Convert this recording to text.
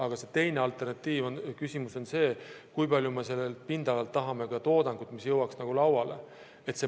Aga teine küsimus on see, kui palju me pindalalt tahame toodangut, mis jõuaks lauale.